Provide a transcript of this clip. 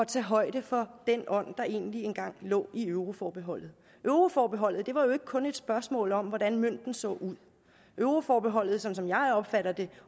tage højde for den ånd der egentlig engang lå i euroforbeholdet euroforbeholdet var jo ikke kun et spørgsmål om hvordan mønten så ud euroforbeholdet som jeg opfatter det